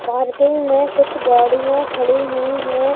Parking में कुछ गाड़िया खड़ी हुई है।